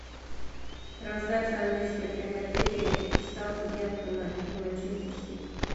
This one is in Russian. трансляция английской премьер лиги саутгемптона и манчестер сити